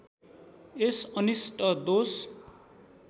यस अनिष्ट दोष